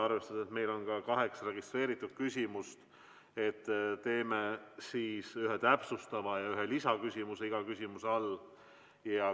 Arvestades seda, et meil on kaheksa registreeritud küsimust, teeme iga küsimuse puhul ühe täpsustava ja ühe lisaküsimuse.